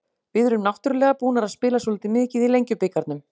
Við erum náttúrulega búnar að spila svolítið mikið í Lengjubikarnum.